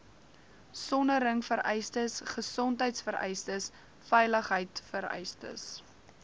soneringvereistes gesondheidvereistes veiligheidvereistes